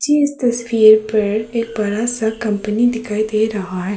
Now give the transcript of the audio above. जे इस तस्वीर पर एक बड़ा सा कंपनी दिखाई दे रहा है।